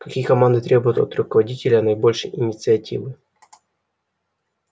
какие команды требуют от руководителя наибольшей инициативы